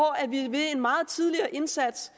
ved en meget tidligere indsats